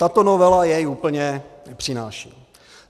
Tato novela jej úplně nepřináší.